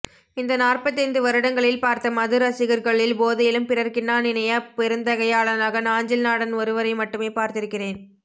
இந்த நாற்பத்தைந்து வருடங்களில் பார்த்த மதுரசிகர்களில் போதையிலும் பிறர்க்கின்னா நினையா பெருந்தகையாளனாக நாஞ்சில் நாடன் ஒருவரை மட்டுமே பார்த்திருக்கிறேன்